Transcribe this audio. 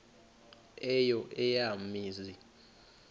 eyo eya mizi